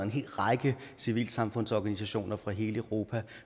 en hel række civilsamfundsorganisationer fra hele europa og